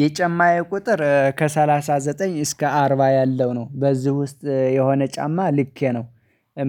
የጫማዬ ቁጥር ከሰላሳ ዘጠኝ እስከ አርባ ያለው ነው በዚህ ውስጥ የሆነ ጫማ ልኬ ነው።